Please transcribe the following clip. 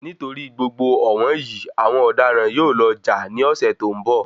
Nitori gbogbo ọ̀wọ́n yìí, àwọn ọ̀daràn yóò lọ jà ní ọsẹ tó n bọ.